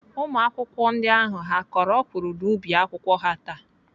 Ụmụakwụkwọ ndị ahụ ha kọrọ ọkwụrụ n'ubi akwụkwọ ha taa?